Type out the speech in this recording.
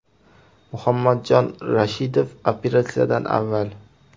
Muhammadjon Rashidov operatsiyadan avval.